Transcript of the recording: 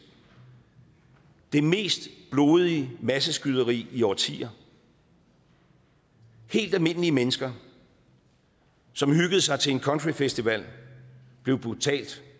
det mest blodige masseskyderi i årtier helt almindelige mennesker som hyggede sig til en countryfestival blev brutalt